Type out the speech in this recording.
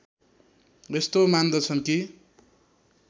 यस्तो मान्दछन् कि